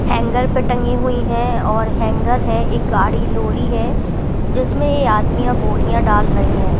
Hanger पर टँंगी हुई हैं और हैंगर है एक गाड़ी-लॉरी है जिसमें ये आदमियाँं बोरियाँं डाल रहे हैं।